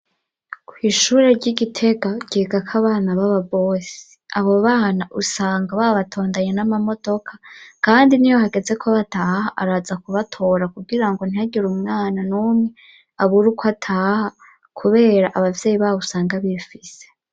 Kwishuri ryi Gitega ryigako abana bababosi, abo bana usanga babatondanye n'amamodoka kandi niyo hagezeko bataha araza kubatora kugirango ntihagira umwana n'umwe abura uko ataha kubera abavyeyi babo usanga bifise.